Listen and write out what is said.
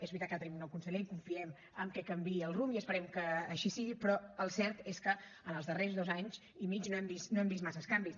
és veritat que ara tenim un nou conseller i confiem que canviï el rumb i esperem que així sigui però el cert és que en els darrers dos anys i mig no hem vist massa canvis